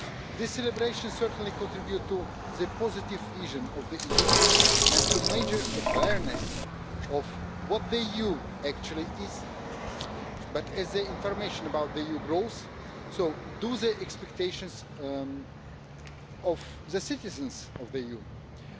This celebration certainly contributes to a positive vision of the EU, and to major awareness of what the EU actually is. But as information about the EU grows, do the expectations of the citizens of the EU grow?